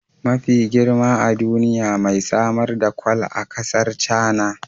Mafi girma a duniya mai samar da kwal a kasar China